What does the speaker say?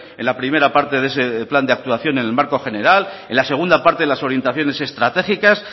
en la primera parte de ese plan de actuación en el marco general en la segunda parte en las orientaciones estratégicas